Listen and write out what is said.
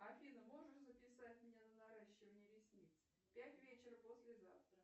афина можешь записать меня на наращивание ресниц пять вечера послезавтра